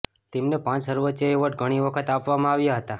તેમને પાંચ સર્વોચ્ચ એવોર્ડ ઘણી વખત આપવામાં આવ્યા હતા